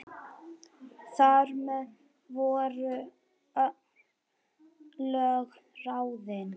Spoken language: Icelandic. Þar með voru örlög ráðin.